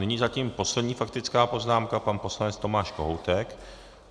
Nyní zatím poslední faktická poznámka pan poslanec Tomáš Kohoutek.